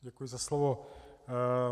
Děkuji za slovo.